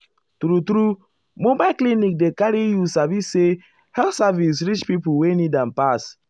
true-true mobile clinic dey carry you sabi say health service reach pipo wey need am pass.